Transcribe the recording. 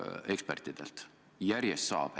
Saab seda järjest veelgi.